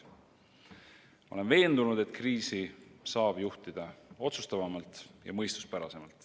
Ma olen veendunud, et kriisi saab juhtida otsustavamalt ja mõistuspärasemalt.